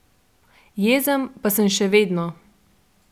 Jezen pa sem še vedno.